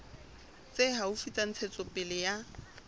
tse haufi tsa ntshetsopele ya